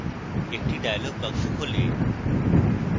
একটি dialog box খোলে